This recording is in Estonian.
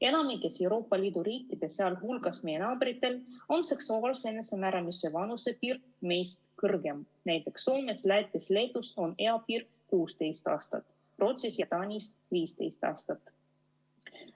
Enamikus Euroopa Liidu riikides, sealhulgas meie naabritel, on seksuaalse enesemääramise vanusepiir meist kõrgem, näiteks Soomes, Lätis ja Leedus on eapiir 16 aastat, Rootsis ja Taanis 15 aastat.